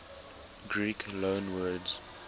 greek loanwords